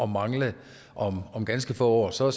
mangle om om ganske få år så